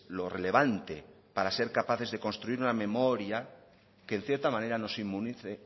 lo relevante para ser capaces de construir una memoria que en cierta manera nos inmunice